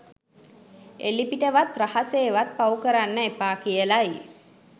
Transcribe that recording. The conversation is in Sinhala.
එළිපිටවත් රහසේවත් පව් කරන්න එපා කියලයි.